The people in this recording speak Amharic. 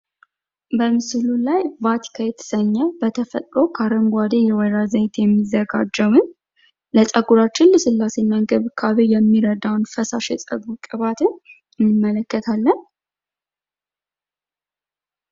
በምስሉ ላይ ቫቲካ የተሰኘ በተፈጥሮ ከአረንጓዴ የወይራ ዘይት የሚዘጋጀውን ለፀጉራችን ልስላሴ እና እንክብካቤ የሚረዳን ፈሳሽ የፀጉር ቅባትን እንመለከታለን።